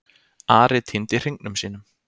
Ari týndi hringnum sínum.